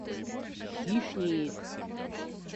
хищник